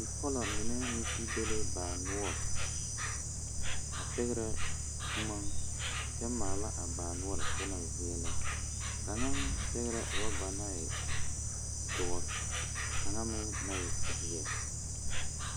Bipɔlo mine meŋ zeŋ be la baa noɔre a pɛgrɛ boma a kyɛ maala a baa noɔrŋ ka o na veɛlɛ kaŋa pɛgrɛɛ orɔba naŋ e doɔ ka kaŋa meŋ na e kpileŋ